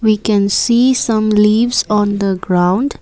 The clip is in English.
we can see some leaves on the ground.